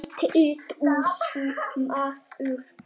Hættu þessu maður!